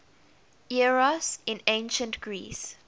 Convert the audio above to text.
eros in ancient greece